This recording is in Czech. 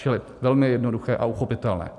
Čili velmi jednoduché a uchopitelné.